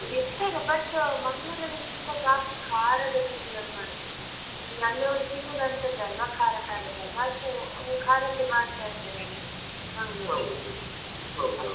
ಇರ್ತಾರೆ but Mangalore ಅಲ್ಲಿ ತುಂಬ ಜಾಸ್ತಿ ಖಾರದ ತಿಂಡಿಗಳು ಅಂದ್ರೆ ಅಲ್ಲಿಯವರು ನನ್ನೊರ್ ತಿನ್ನುದೇ ಅಂತದಲ್ವ ಖಾರ ಖಾರದಲ್ವಾ so ಅವ್ರು ಖಾರದ್ದೇ ಮಾಡ್ತಾ ಇರ್ತಾರೆ ಅಲ್ಲಿ Mangalore ಅಲ್ಲಿ .